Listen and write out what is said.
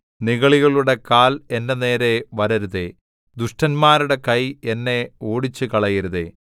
നിഗളികളുടെ കാൽ എന്റെ നേരെ വരരുതേ ദുഷ്ടന്മാരുടെ കൈ എന്നെ ഓടിച്ചുകളയരുതേ